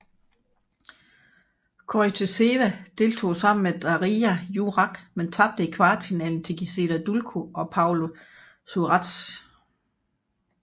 Koryttseva deltog sammen med Darija Jurak men tabte i kvartfinalen til Gisela Dulko og Paola Suárez